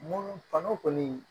Munnu kano kɔni